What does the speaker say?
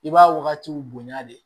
I b'a wagatiw bonya de